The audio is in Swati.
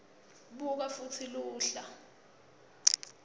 buka futsi luhla